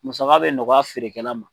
Masaka bɛ nɔgɔya feerekɛla ma.